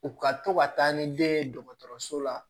U ka to ka taa ni den ye dɔgɔtɔrɔso la